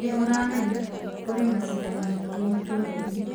Nĩ ũramenya, kũrĩ macindano maingĩ matũra-inĩ